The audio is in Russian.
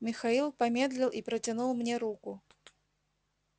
михаил помедлил и протянул мне руку